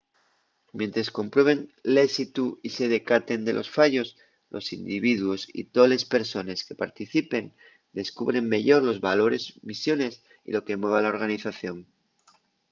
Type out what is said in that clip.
mientres comprueben l’ésitu y se decaten de los fallos los individuos y toles persones que participen descubren meyor los valores misiones y lo que mueve a la organización